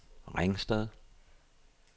Ringsted